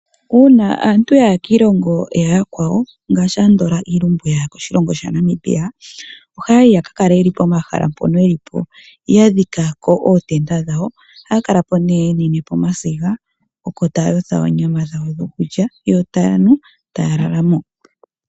Uuna aantu ya ya kiilongo ya yakwawo ngaashi andola iilumbu ya ya koshilongo sha Namibia ohaya yi yaka kale yeli pomahala mpono yelipo yadhikako ootenda dhawo ohaya kalapo yenapo omasiga taayotha oonyama dhawo dhokulya yo taya nu etaya lala mo.